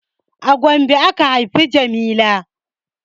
A Gombe aka haifa jamila